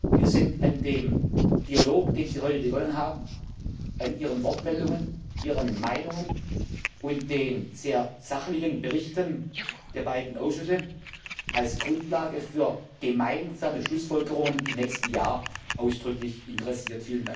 Wir sind an dem Dialog, den Sie heute begonnen haben, an Ihren Wortmeldungen, Ihren Meinungen und den sehr sachlichen Berichten der beide Ausschüsse als Grundlage für gemeinsame Schlussfolgerungen im nächsten Jahr ausdrücklich interessiert.